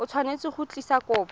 o tshwanetse go tlisa kopo